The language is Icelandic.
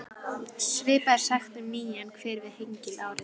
Svipað er sagt um nýjan hver við Hengil árið